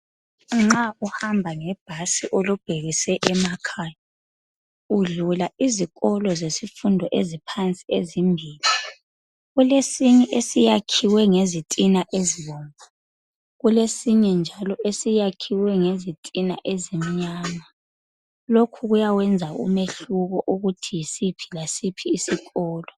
Nxa uhamba ngebhasi ulubhekise emakhaya. Udlula izikolo zesifundo eziphansi ezimbili. Kulesinye esiyakhuwe ngezitina ezibomvu. Kulesinye njalo esiyakhiwe ngezitina èzimnyama. Lokhu kuyawenza umehluko, ukuthi yisiphi lasiphi isikolo.